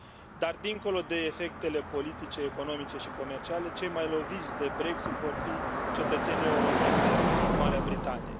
Dar dincolo de efectele politice, economice și comerciale cei mai loviți de Brexit vor fi cetățenii europeni din Marea Britanie.